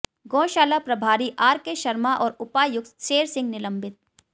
गौशाला प्रभारी R K Sharma और उपायुक्त शेरसिंह निलंबित